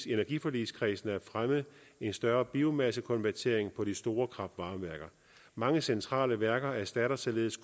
i energiforligskredsen om at fremme en større biomassekonvertering på de store kraft varme værker mange centrale værker erstatter således